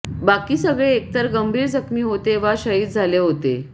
बाकी सगळे एकतर गंभीर जखमी होते वा शहीद झाले होते